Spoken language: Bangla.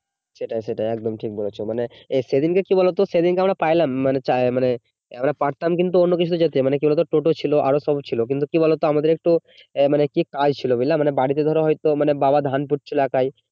সেটাই সেটাই একদম ঠিক বলেছ, মানে সেদিনকে কি বলতো সেদিনকে আমরা পাইলাম মানে চাইলে আমরা পারতাম কিন্তু অন্য কিছু যেতে ছিল, মানে কি বলতো টোটো ছিল আরো সব ছিল কিন্তু কি বলতো আমাদের একটু ইএ মানে কি কাজ ছিল বুঝলা, বাড়িতে ধরো হয়তো বাবা ধান পুত ছিল একাই